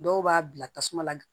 Dɔw b'a bila tasuma